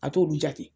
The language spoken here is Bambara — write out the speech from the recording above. A t'olu jate